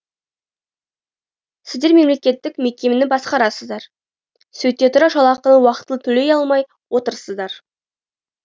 сіздер мемлекеттік мекемені басқарасыздар сөйте тұра жалақыны уақытылы төлей алмай отырсыздар